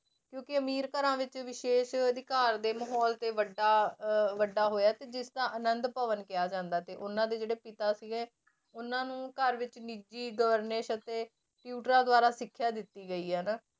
ਕਿਉਂਕਿ ਅਮੀਰ ਘਰਾਂ ਵਿੱਚ ਵਿਸ਼ੇਸ਼ ਅਧਿਕਾਰ ਦੇ ਮਾਹੌਲ ਤੇ ਵੱਡਾ ਅਹ ਵੱਡਾ ਹੋਇਆ ਤੇ ਜਿਸ ਤਰ੍ਹਾਂ ਆਨੰਦ ਭਵਨ ਕਿਹਾ ਜਾਂਦਾ ਤੇ ਉਹਨਾਂ ਦੇ ਜਿਹੜੇ ਪਿਤਾ ਸੀਗੇ ਉਹਨਾਂ ਨੂੰ ਘਰ ਵਿੱਚ ਨਿੱਜੀ ਅਤੇ ਟਿਊਟਰਾਂ ਦੁਆਰਾ ਸਿੱਖਿਆ ਦਿੱਤੀ ਗਈ ਹੈ ਨਾ।